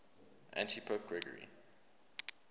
antipope gregory